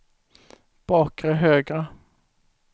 bakre högra